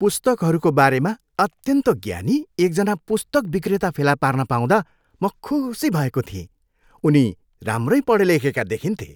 पुस्तकहरूको बारेमा अत्यन्त ज्ञानी एकजना पुस्तक विक्रेता फेला पार्न पाउँदा म खुसी भएँको थिएँ। उनी राम्रै पढेलेखेका देखिन्थे।